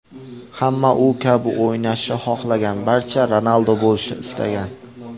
Hamma u kabi o‘ynashni xohlagan, barcha Ronaldo bo‘lishni istagan.